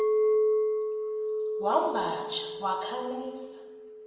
wamba tsha wakhamisa